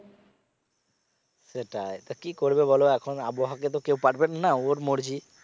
সেটাই তা কি করবে বলো এখন আবহাওয়াকে তো কেউ পারবেন না ওর মর্জি